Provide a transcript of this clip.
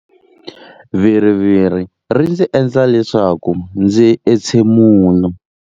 Viriviri ri ndzi endla leswaku ndzi entshemula.